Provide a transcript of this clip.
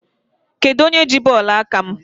Kedụ onye ji bọọlụ aka m?